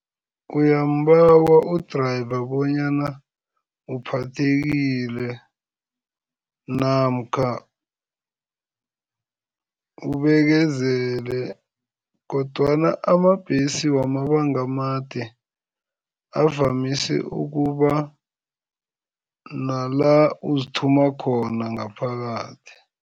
Uyambawa u-driver bonyana uphathekile namkha ubekezele kodwana amabhesi wamabanga amade, avamise ukuba nala uzithuma khona ngaphakathi.